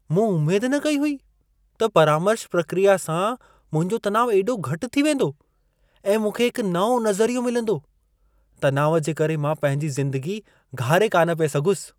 मूं उमेद न कई हुई त परामर्श प्रक्रिया सां मुंहिंजो तनाव एॾो घटि थी वेंदो ऐं मूंखे हिक नओं नज़रियो मिलंदो। तनाव जे करे मां पंहिंजी ज़िंदगी घारे कान पिए सघयुसि।